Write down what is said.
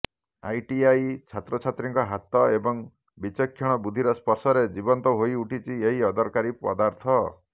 ITI ଛାତ୍ରଛାତ୍ରୀଙ୍କ ହାତ ଏବଂ ବିଚକ୍ଷଣ ବୁଦ୍ଧିର ସ୍ପର୍ଶରେ ଜୀବନ୍ତ ହୋଇଉଠିଛି ଏହି ଅଦରକାରୀ ପଦାର୍ଥ